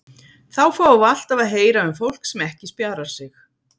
Þá fáum við alltaf að heyra um fólk sem ekki spjarar sig.